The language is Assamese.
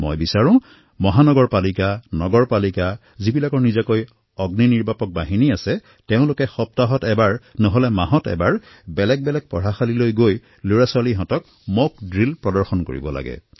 মই বিচাৰোঁ যে মহানগৰপালিকা নগৰপালিকা যিসকলৰ ওচৰত অগ্নি নিৰ্বাপক ব্যৱস্থা আছে তেওঁলোকে সপ্তাহত অথবা মাহত এবাৰ বিভিন্ন বিদ্যালয়সমূহলৈ গৈ শিক্ষাৰ্থীসকলৰ সন্মুখত মক ড্ৰিল কৰিব লাগে